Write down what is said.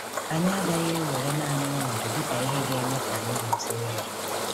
Anyị agaghị ewere naanị ọnọdụ dị ka ihe ga-eme ka anyị mụta ihe.